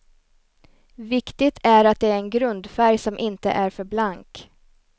Viktigt är att det är en grundfärg som inte är för blank.